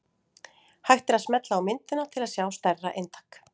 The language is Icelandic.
Hægt er að smella á myndina til að sjá stærra eintak.